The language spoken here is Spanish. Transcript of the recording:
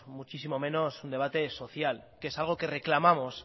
muchísimo menos un debate social que es algo que reclamamos